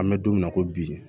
An bɛ don min na ko bi